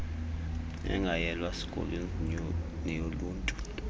engayelwa sikolweni neyoluntu